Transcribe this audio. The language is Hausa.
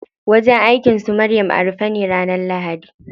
Wajen aikin su Maryam a rufe ne ranar lahadi.